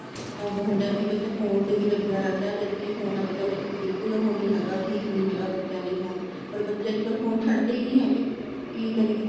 ਉਹ ਹੁੰਦਾ ਏ ਕੀ ਬੱਚਾ ਫੋਨ ਤੇ ਵੀ ਲੱਗਿਆ ਰਹਿੰਦਾ ਏ ਜਦਕਿ ਫੋਨ ਅੱਜਕਲ ਬਿਲਕੁਲ ਉਹ ਨਹੀਂ ਹੈਗਾ ਠੀਕ ਨਹੀਂ ਹੈਗਾ ਬੱਚਿਆ ਲਈ ਫੋਨ ਪਰ ਬੱਚੇ ਅੱਜ ਕੱਲ ਫੋਨ ਛੱਡਦੇ ਨਹੀਂ ਹੈਗੇ ਕੀ ਕਰੀਏ